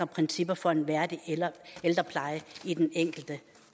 principper for en værdig ældrepleje i den enkelte